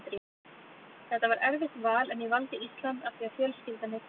Þetta var erfitt val en ég valdi Ísland af því að fjölskyldan er héðan.